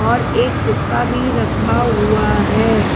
और एक हुक्का भी रखा हुआ है।